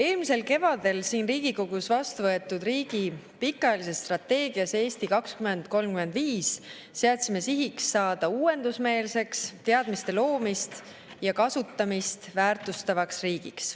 Eelmisel kevadel siin Riigikogus vastuvõetud riigi pikaajalises strateegias "Eesti 2035" seadsime sihiks saada uuendusmeelseks, teadmiste loomist ja kasutamist väärtustavaks riigiks.